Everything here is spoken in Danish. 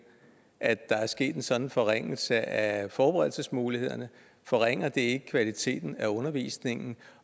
at der er sket en sådan forringelse af forberedelsesmulighederne forringer det ikke kvaliteten af undervisningen